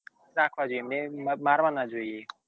રાખવા જોઈએ એમને મારવા ના જોઈએ